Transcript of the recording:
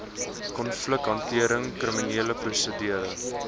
konflikhantering kriminele prosedure